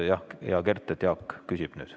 Jah, hea Kert, Jaak küsib nüüd.